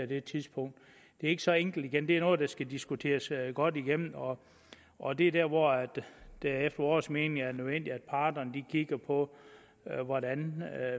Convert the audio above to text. det tidspunkt det er ikke så enkelt igen det er noget der skal diskuteres godt igennem og og det er der hvor det efter vores mening er nødvendigt at parterne kigger på hvordan